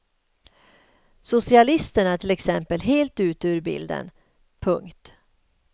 Socialisterna är till exempel helt ute ur bilden. punkt